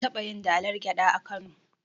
An taɓayin dalar gyaɗa a kano